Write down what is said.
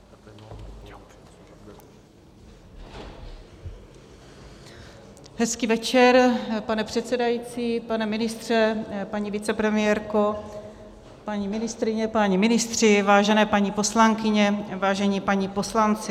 Hezký večer, pane předsedající, pane ministře, paní vicepremiérko, paní ministryně, páni ministři, vážené paní poslankyně, vážení páni poslanci.